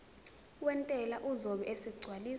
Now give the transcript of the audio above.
wentela uzobe esegcwalisa